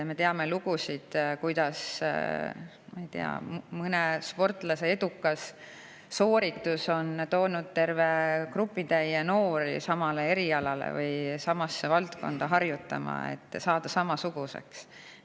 Me teame lugusid, kuidas mõne sportlase edukas sooritus on toonud terve grupi noori samasse valdkonda harjutama, et saada samasuguseks.